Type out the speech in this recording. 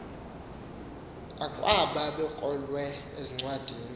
akwaba ebekrolwe encwadini